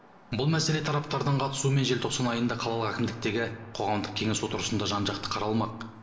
бұл мәселе тараптардың қатысуымен желтоқсан айында қалалық әкімдіктегі қоғамдық кеңес отырысында жан жақты қаралмақ